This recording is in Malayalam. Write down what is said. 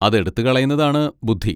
അതെടുത്തു കളയുന്നതാണ് ബുദ്ധി.